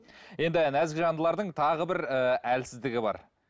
енді нәзік жандылардың тағы бір ыыы әлсіздігі бар